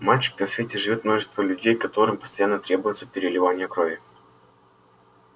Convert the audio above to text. мальчик на свете живёт множество людей которым постоянно требуется переливание крови